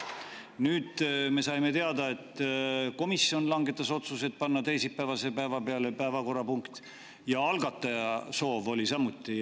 Nüüd me saime teada, et komisjon langetas otsuse panna teisipäevase päeva peale päevakorrapunkt ja algataja soov oli see samuti.